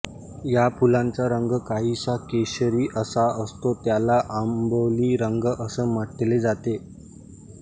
या फुलाचा रंग काहीसा केशरी असा असतो त्याला अबोली रंग अस म्हंटले जाते